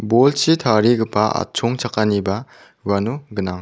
bolchi tarigipa atchongchakaniba uano gnang.